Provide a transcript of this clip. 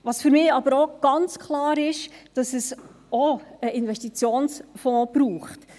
Was für mich auch ganz klar ist, ist, dass es auch einen Investitionsfonds braucht.